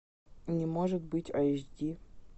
не может быть айч ди